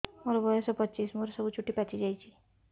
ମୋର ବୟସ ପଚିଶି ମୋର ସବୁ ଚୁଟି ପାଚି ଯାଇଛି